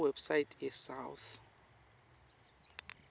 kuwebsite ye south